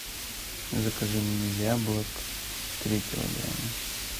закажи мне яблок три килограмма